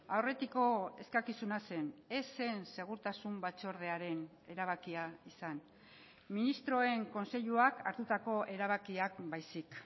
aurretiko eskakizuna zen ez zen segurtasun batzordearen erabakia izan ministroen kontseiluak hartutako erabakiak baizik